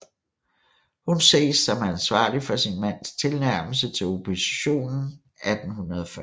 Hun ses som ansvarlig for sin mands tilnærmelse til oppositionen 1840